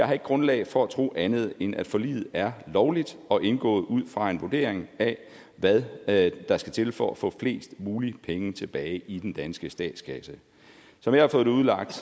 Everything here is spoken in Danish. har grundlag for at tro andet end at forliget er lovligt og indgået ud fra en vurdering af hvad hvad der skal til for at få flest mulige penge tilbage i den danske statskasse som jeg har fået det udlagt